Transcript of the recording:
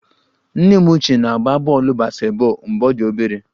Nne m ochie na-agba bọọlụ basketball mgbe ọ dị obere